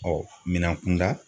minan kunda